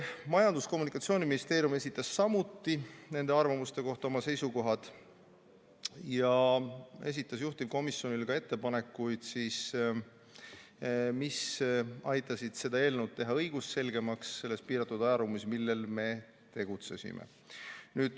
Majandus- ja Kommunikatsiooniministeerium esitas samuti nende arvamuste kohta oma seisukohad ja esitas juhtivkomisjonile ettepanekuid, mis aitasid teha seda eelnõu õigusselgemaks sellel piiratud ajal, mil me tegutsesime.